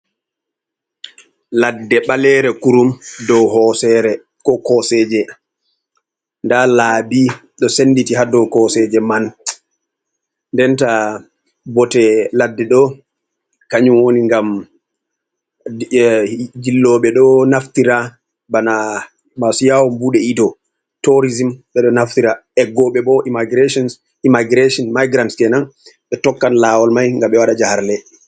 Laɗɗe ɓalere kurum ɗow ko koseje. Nda labi ɗo senɗiti ha ɗow koseje man. Nɗen taa bote laɗɗe ɗo kanyum woni, ngam ɗillobe ɗo naftira bana masu yawum bude iɗo. torisim be ɗo naftira. eggobe bo immagishon maigirants kenan, be tokkan lawol mai ngam ɓe waɗa jaharle.